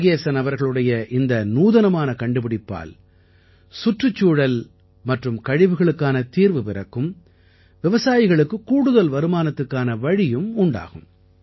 முருகேசன் அவர்களுடைய இந்த நூதனமான கண்டுபிடிப்பால் சுற்றுச்சூழல் மற்றும் கழிவுகளுக்கான தீர்வு பிறக்கும் விவசாயிகளுக்குக் கூடுதல் வருமானத்திற்கான வழியும் உண்டாகும்